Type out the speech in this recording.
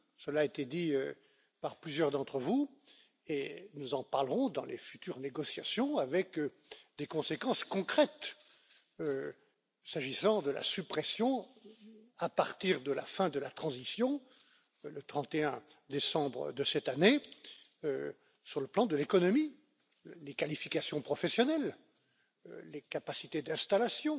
Cela a été dit par plusieurs d'entre vous et nous en parlerons dans les futures négociations avec des conséquences concrètes, s'agissant des différentes suppressions, à partir de la fin de la période de transition, le 31 décembre de cette année, sur le plan de l'économie, des qualifications professionnelles ou des capacités d'installation